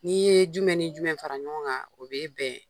N'i ye jumɛn ni jumɛn fara ɲɔgɔn kan o bɛ bɛn